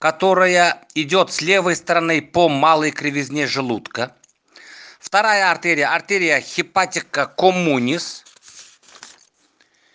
которая идёт с левой стороны по малой кривизне желудка вторая артерия артерия хипатика коммунис